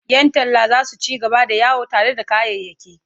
Yan talla za su ci gaba da yawo tare da kayayyaki.